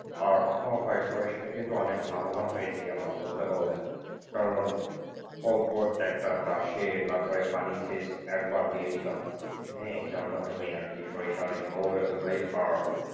আর আপনার ভাই সরিষায় কিন্তু অনেক লাভবান হয়েছি আমরা বুঝতে পারলেন কারণ অল্প একটা চাষে তারপরে পানি সেচ একবার দিয়েছিলাম যার মাধ্যমে আর কি সরিষা অনেক ভালো হয়েছে ভাই আর,